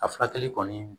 A furakɛli kɔni